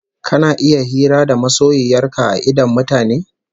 Kana iya hira da masoyiyar ka a idon mutane?